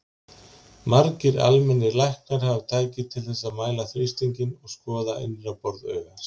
Margir almennir læknar hafa tæki til þess að mæla þrýstinginn og skoða innra borð augans.